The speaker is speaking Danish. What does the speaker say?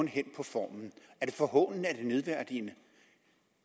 hen på formen er det forhånende er det nedværdigende